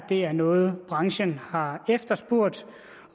det er noget branchen har efterspurgt